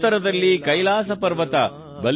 ಉತ್ತರದಲ್ಲಿ ಕೈಲಾಸ ಪರ್ವತ ಬಲಿಷ್ಟವಾಗಿದೆ